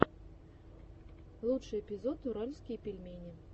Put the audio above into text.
лучший эпизод уральские пельмени